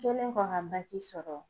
Kɛlen kɔ ka BAC sɔrɔ